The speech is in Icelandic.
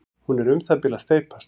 hún er um það bil að steypast